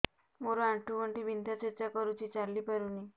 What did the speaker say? ମୋର ଆଣ୍ଠୁ ଗଣ୍ଠି ବିନ୍ଧା ଛେଚା କରୁଛି ଚାଲି ପାରୁନି